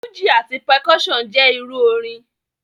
Fúji ati percussion jẹ iru orin.